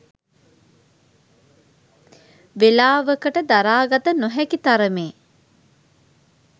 වෙලාවකට දරා ගත නොහැකි තරමේ